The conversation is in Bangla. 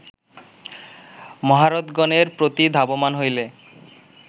মহারথগণের প্রতি ধাবমান হইলে